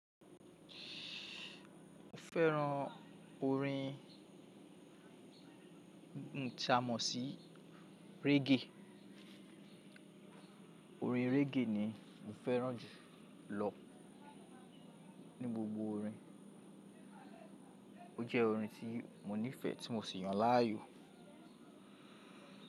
Mo fẹ́ran orin, Iń ta mọ̀ sí reggae. Orin reggae ni mo fẹ́ràn jù lọ ní gbogbo orin. Ó jẹ́ orin tí mo nífẹ̀ẹ́ tí mo sì yàn láàyò.